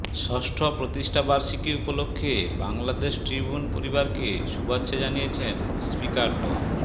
ষষ্ঠ প্রতিষ্ঠাবার্ষিকী উপলক্ষে বাংলা ট্রিবিউন পরিবারকে শুভেচ্ছা জানিয়েছেন স্পিকার ড